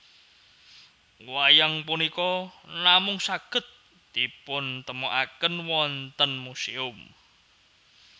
Wayang punika namung saged dipuntemokaken wonten muséum